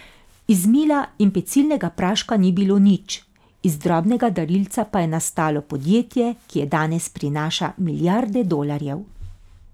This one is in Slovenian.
Iz mila in pecilnega praška ni bilo nič, iz drobnega darilca pa je nastalo podjetje, ki danes prinaša milijarde dolarjev.